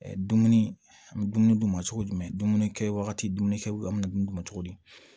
Dumuni an bɛ dumuni d'u ma cogo jumɛn dumuni kɛ wagati dumuni kɛ an bɛ dumuni d'u ma cogo di